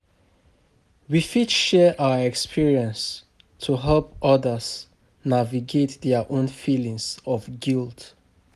We fit share our experiences to help others navigate their own feelings of guilt.